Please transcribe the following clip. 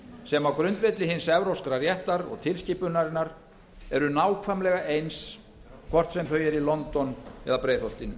sem á grundvelli hins evrópska réttar og tilskipunarinnar eru nákvæmlega eins hvort sem þau eru í london eða breiðholtinu